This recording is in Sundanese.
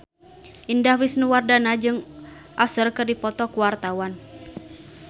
Indah Wisnuwardana jeung Usher keur dipoto ku wartawan